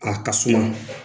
A ka suma